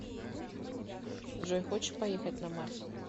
джой хочешь поехать на марс